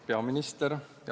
Peaminister!